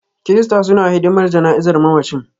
Kirista suna hidimar jana'izar mamacin.